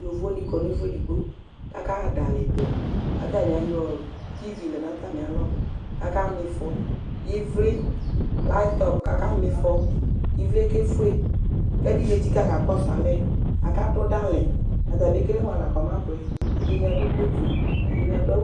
Yovoni kɔ nʋ ɛfʋ edigbo k'aka ha dalinɛ, k'atani ayɔ TV lɛ n'atami alɔ, k'aka m:ifɔ Ivli laptɔp k'aka m'ifɔ k'ivli yɛ kefue, k'ɛdini etsika k'akɔsʋ alɛ Aka dʋ dali n'atame kele mʋani la k'ɔmabuɛ, ɛdini adʋ coatu, ɛdini adʋ awʋ